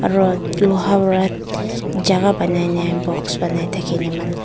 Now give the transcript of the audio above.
aro loha wa jagah banai ne box banai thakine manu--